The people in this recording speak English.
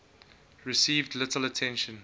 received little attention